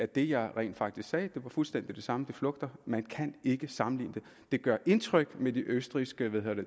det jeg rent faktisk sagde var fuldstændig det samme det flugter man kan ikke sammenligne det det gør indtryk med de østrigske